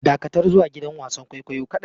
Dakatar zuwa gidan wasan kwaikwayo kadai!